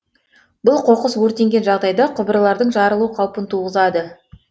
бұл қоқыс өртенген жағдайда құбырлардың жарылу қаупін туғызады